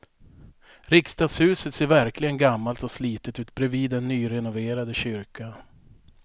Riksdagshuset ser verkligen gammalt och slitet ut bredvid den nyrenoverade kyrkan.